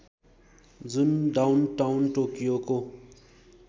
जुन डाउनटाउन टोकियोको